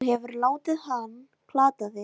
Þú hefur látið hann plata þig!